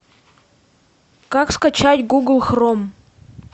как скачать гугл хром